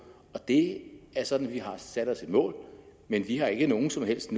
det er sådan at vi har sat os et mål men vi har ikke nogen som helst